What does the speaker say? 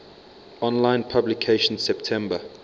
online publication september